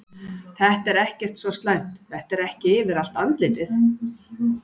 Þetta er ekkert svo slæmt, þetta er ekki yfir allt andlitið.